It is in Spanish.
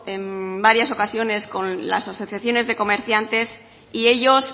en varias ocasiones con las asociaciones de comerciantes y ellos